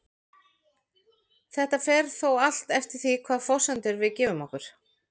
Þetta fer þó allt eftir því hvaða forsendur við gefum okkur.